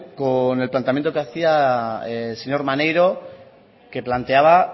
con el planteamiento que hacía el señor maneiro que planteaba